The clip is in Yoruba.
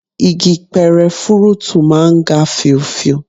Igi pẹrẹ fúrúùtù máa ń ga fíofío